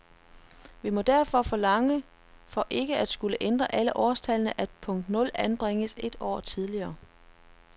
Vi må derfor forlange, for ikke at skulle ændre alle årstallene, at punkt nul anbringes et år tidligere.